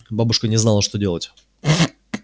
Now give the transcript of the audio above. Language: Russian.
бабушка не знала что делать